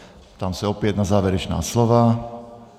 Ptám se opět na závěrečná slova.